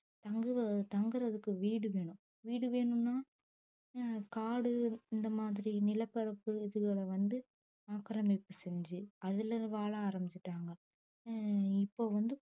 தங்குறதுக்கு வீடு வேணும் வீடு வேணும்னா அஹ் காடு இந்த மாதிரி நிலப்பரப்பு இதுகளை வந்து ஆக்கிரமிப்பு செஞ்சு அதுல வாழ ஆரம்பிச்சுட்டாங்க உம் இப்ப வந்து